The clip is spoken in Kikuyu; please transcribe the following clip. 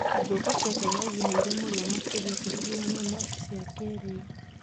Ngũkũ cia kĩenyeji nĩ irĩ mũrio makĩria ingĩringithanio na cia kĩrĩu.